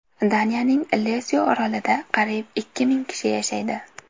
Daniyaning Lesyo orolida qariyb ikki ming kishi yashaydi.